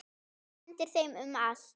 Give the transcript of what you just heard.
Hún hendir þeim um allt.